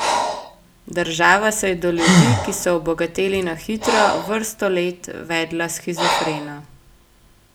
Država se je do ljudi, ki so obogateli na hitro, vrsto let vedla shizofreno.